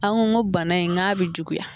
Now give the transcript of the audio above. An ko ko bana in n k'a bɛ juguya